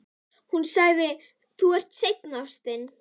Hún sagði: Þú ert seinn, ástin.